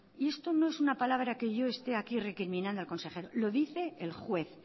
y esto no es una palabra que yo está aquí recriminando al consejero lo dice el juez